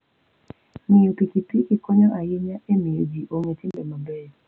Ng'iyo pikipiki konyo ahinya e miyo ji ong'e timbe mabeyo.